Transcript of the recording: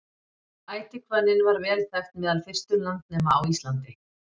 ætihvönnin var vel þekkt meðal fyrstu landnema á íslandi